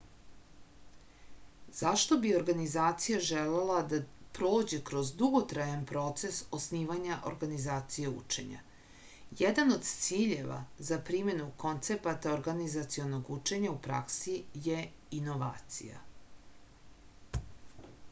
zašto bi organizacija želela da prođe kroz dugotrajan proces osnivanja organizacije učenja jedan od ciljeva za primenu koncepata organizacionog učenja u praksi je inovacija